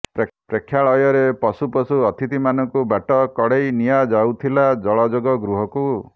ପ୍ରେକ୍ଷାଳୟରେ ପଶୁପଶୁ ଅତିଥିମାନଙ୍କୁ ବାଟ କଢେ଼ଇ ନିଆଯାଉଥିଲା ଜଳଯୋଗ ଗୃହକୁ